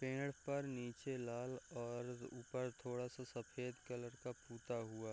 पेड़ पर नीचे लाल और अ ऊपर थोड़ा सा सफ़ेद कलर का पुता हुआ --